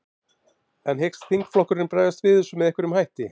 En hyggst þingflokkurinn bregðast við þessu með einhverjum hætti?